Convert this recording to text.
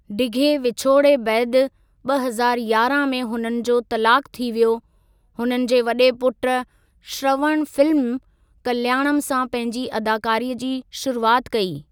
डिघे विछोड़े बैदि, ॿ हज़ारु यारहां में हुननि जो तलाक़ थी वियो। हुननि जे वडे॒ पुटु श्रवण फिल्म कल्याणम सां पंहिजी अदाकारीअ जी शुरुआत कई।